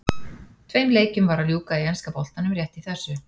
Tveim leikjum var að ljúka í enska boltanum rétt í þessu.